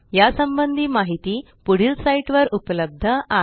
यासंबंधी माहिती पुढील साईटवर उपलब्ध आहे